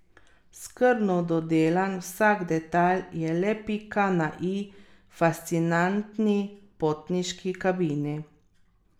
Skrbno dodelan vsak detajl je le pika na i fascinantni potniški kabini.